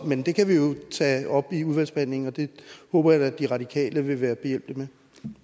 men det kan vi jo tage op i udvalgsbehandlingen og det håber jeg da at de radikale vil være behjælpelig med